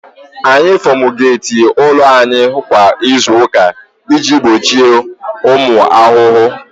Anyị fumigeeti ụlọ anyị kwa izu ụka iji gbochie ụmụ ahụhụ